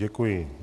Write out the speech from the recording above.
Děkuji.